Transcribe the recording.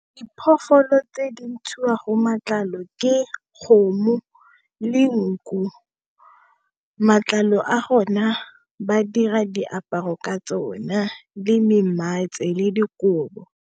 Diphologolo tse di ntshiwa go matlalo ke kgomo le nku, matlalo a gona ba dira diaparo ka tsona le me mmetshe le dikobo.